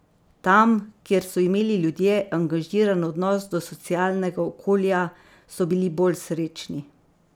Tam, kjer so imeli ljudje angažiran odnos do socialnega okolja, so bili bolj srečni.